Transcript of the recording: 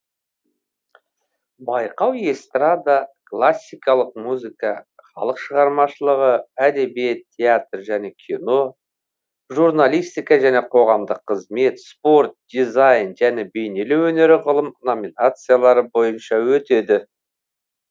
байқау эстрада классикалық музыка халық шығармашылығы әдебиет театр және кино журналистика және қоғамдық қызмет спорт дизайн және бейнелеу өнері ғылым номинациялары бойынша өтеді